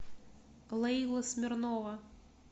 лейла смирнова